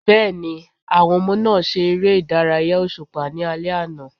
Bẹ́ẹ̀ni, àwọn ọmọ náà ṣe ère ìdárayá òṣùpá ní alẹ́ àná.